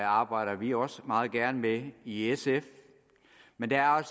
arbejder vi også meget gerne med i sf men der er